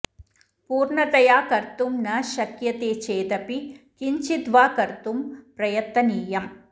पूर्णतया कर्तुं न शक्यते चेदपि किञ्चिद् वा कर्तु प्रयतनीयम्